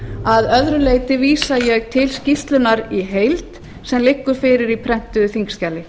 að öðru leyti vísa ég til skýrslunnar í heild sem liggur fyrir í prentuðu þingskjali